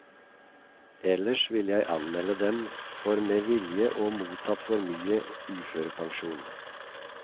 Ellers ville jeg anmelde dem for med vilje å mottatt for mye i uførepensjon.